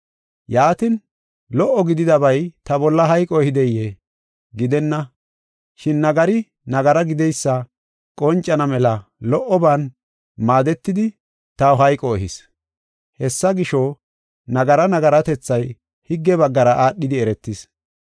Yaatin, lo77o gididabay ta bolla hayqo ehideyee? Gidenna! Shin nagari nagara gideysi qoncana mela lo77oban maaddetidi taw hayqo ehis. Hessa gisho, nagara nagaratethay higge baggara aadhidi eretis.